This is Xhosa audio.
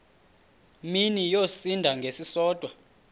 mini yosinda ngesisodwa